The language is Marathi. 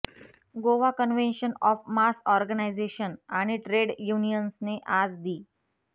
Goa convention of mass organisation आणि ट्रेड युनियन्सने आज दि